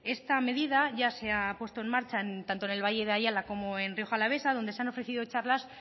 esta medida ya ha se ha puesto en marcha tanto en el valle de ayala como en rioja alavesa donde se han ofrecido charlas